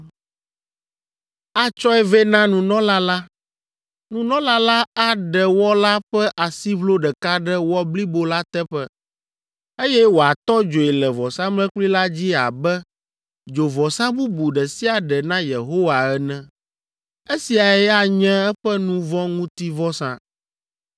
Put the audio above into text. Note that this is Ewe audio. Atsɔe vɛ na nunɔla la; nunɔla la aɖe wɔ la ƒe asiʋlo ɖeka ɖe wɔ blibo la teƒe, eye wòatɔ dzoe le vɔsamlekpui la dzi abe dzovɔsa bubu ɖe sia ɖe na Yehowa ene. Esiae anye eƒe nu vɔ̃ ŋuti vɔsa.